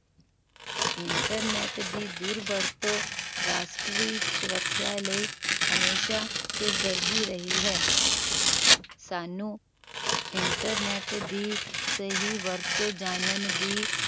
internet ਦੀ ਦੁਰਵਰਤੋਂ ਰਾਸ਼ਟਰੀ ਸੁਰੱਖਿਆ ਲਈ ਇੱਕ ਸਿਰਦਰਦੀ ਰਹੀ ਹੈ ਸਾਨੂ internet ਦੀ ਸਹੀ ਵਰਤੋਂ ਜਾਨਣ ਦੀ